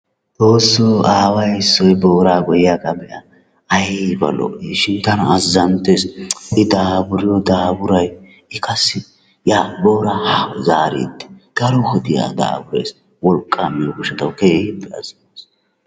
Xoosso aawa issoy booraa goyyiyagaa be'a. Ayba lo'iishin tana azzanttees. I daafuriyo daafuray, booraa yaa haa zaariiddi daro wodiya daafurees. Wolqqaa miyo gishshawu keehippe azzanttees.